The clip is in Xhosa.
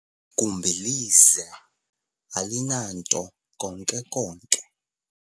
igumbi lize, alinanto konke konke